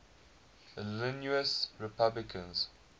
illinois republicans